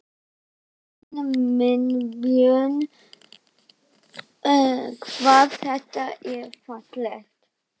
Drottinn minn, Björn, hvað þetta er fallegt!